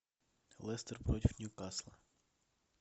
лестер против ньюкасла